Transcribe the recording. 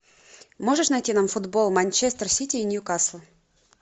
можешь найти нам футбол манчестер сити и ньюкасл